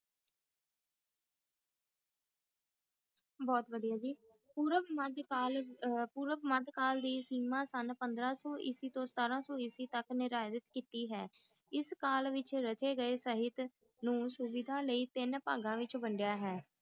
ਬੋਹਤ ਵੜਿਆ ਜੀ ਪੋਰਬ monthcall ਪੋਰਬ monthcall ਦੀ ਸੀਮਾ ਸੁਨ ਪੰਦਰਾ ਸੋ ਏਕੀ ਤੋ ਸਤਰ ਸੋ ਇਕੀਸ ਤਕ ਕੀਤੀ ਹੈ ਇਸ call ਵਿਚ ਰਕੀ ਗਾਏ ਸੇਯ੍ਹਤ ਨੂ ਸੁਮਿਤ ਨੇ ਤਿਨ ਪੰਗਾ ਵਿਚ ਵਾਨ੍ਦ੍ਯਾ ਹੋਯਾ ਹੈ